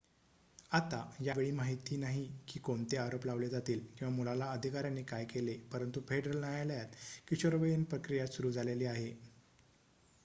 आता यावेळी माहित नाही की कोणते आरोप लावले जातील किंवा मुलाला अधिकाऱ्यांनी काय केले परंतु फेडरल न्यायालयात किशोरवयीन प्रक्रिया सुरु झालेली आहे